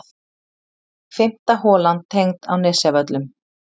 Fimmta holan tengd á Nesjavöllum.